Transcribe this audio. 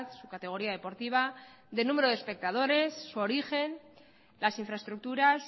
su categoría deportiva de número de espectadores su origen las infraestructuras